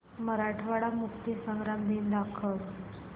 मराठवाडा मुक्तीसंग्राम दिन दाखव